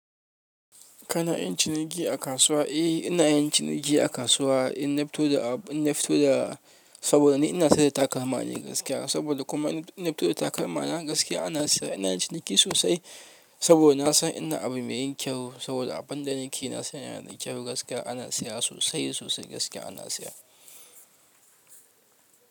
Kana yin ciniki a kasuwa? Eh ina yin ciniki a kasuwa. Inna fito da abu, inna fito da, saboda ni ina siyar da takalma ne gaskiya. Saboda kuma inna fito da takalma na gaskiya ana siya, ina yin ciniki sosai, saboda na san ina yin abu me yin kyau saboda abin da nake nasani yana da kyau gaskiya ana siya sosai sosai gaskiya ana siya.